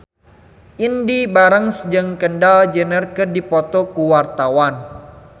Indy Barens jeung Kendall Jenner keur dipoto ku wartawan